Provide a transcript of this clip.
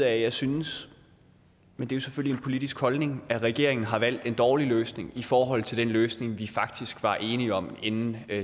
at jeg synes men det er selvfølgelig en politisk holdning at regeringen har valgt en dårlig løsning i forhold til den løsning vi faktisk var enige om inden